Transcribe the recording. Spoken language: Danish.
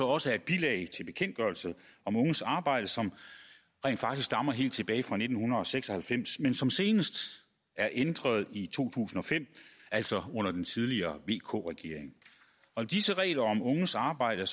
også af et bilag til bekendtgørelse om unges arbejde som rent faktisk stammer helt tilbage fra nitten seks og halvfems men som senest er ændret i to tusind og fem altså under den tidligere vk regering og disse regler om unges arbejde